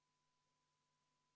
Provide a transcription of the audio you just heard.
Aitäh, austatud Riigikogu aseesimees!